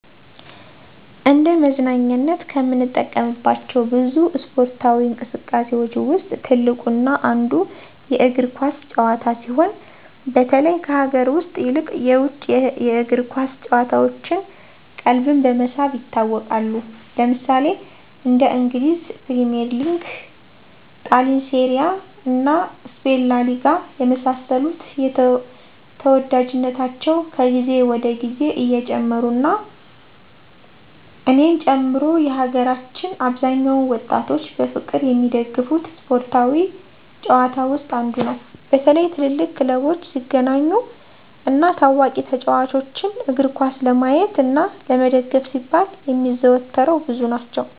እንደ መዝናኛነት ከምንጠቀምባቸው ብዙ እስፓርታዊ እንቅስቃሴዎች ውስጥ ትልቁ እና አንዱ የእግር ኳስ ጭዋታ ሲሆን በተለይ ከሀገር ውስጥ ይልቅ የውጭ የእግር ኳስ ጭዋታዎች ቀልብን በመሳብ ይታወቃሉ። ለምሳሌ እንደ እንግሊዝ ፕሪሚዬር ሊግ; ጣሊንሴሪያ እና ስፔን ላሊጋ የመሳሰሉት ተዎዳጅነታቸው ከግዜ ወደ ግዜ እየጨመሩ እና እኔን ጨምሮ የሀገራችን አብዛኛውን ወጣቶች በፍቅር የሚደገፉት ስፓርታዊ ጭዋታ ውስጥ አንዱ ነው። በተለይ ትልልቅ ክለቦች ሲገናኙ እና ታዋቂ ተጫዎቾችን እግርኳስ ለማየት እና ለመደገፍ ሲባል የሚያዘወትረው ብዙ ናቸው።